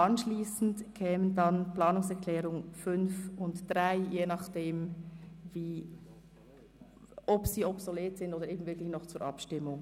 Anschliessend kämen die Planungserklärungen 5 und 3 an die Reihe, in Abhängigkeit davon, ob sie obsolet sind oder nicht.